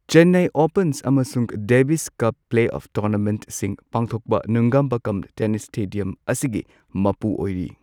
Chennai open ꯑꯃꯁꯨꯡ Davis cup play of ꯇꯣꯔꯅꯥꯃꯦꯟꯠꯁꯤꯡ ꯄꯥꯡꯊꯣꯛꯄ ꯅꯨꯡꯒꯝꯕꯛꯀꯝ ꯇꯦꯅꯤꯁ ꯁ꯭ꯇꯦꯗꯤꯌꯝ ꯑꯁꯤꯒꯤ ꯃꯄꯨ ꯑꯣꯏꯔꯤ꯫